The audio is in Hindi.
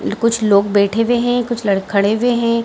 कुछ लोग बैठे हुए है कुछ लोग ल खड़े हुए है।